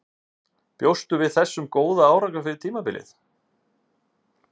Bjóstu við þessum góða árangri fyrir tímabilið?